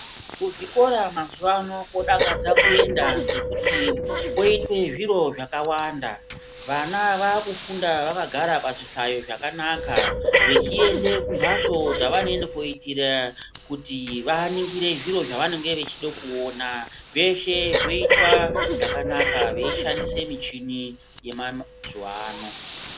Kuzvikora mazuva ano kodakadza kuenda ngekuti kwoitwe zviro zvakawanda, vana vakufunda vakagara pazvihlayo zvakanaka. Vechiende kumhatso dzavanoende kunoitira kuti vaningire zviro zvavanenge vachida kuona. Zveshe zvoitwa zvakanaka veishandise michini yemazuwa ano.